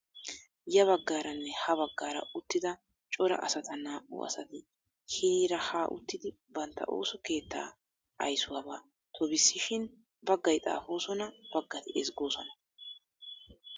Ya baggaaranne ha baggaara uttida cora asata naa"u asati hiniira ha uttidi bantta ooso keettaa ayisuwabaa tobissishin baggayi xaapoosona, baggati ezggoosona